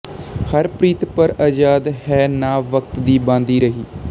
ਹਰ ਪ੍ਰੀਤ ਪਰ ਆਜ਼ਾਦ ਹੈ ਨਾ ਵਕਤ ਦੀ ਬਾਂਦੀ ਰਹੀ